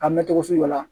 A mɛ cogo sugu dɔ la